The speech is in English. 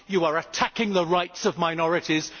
You are attacking the rights of minorities.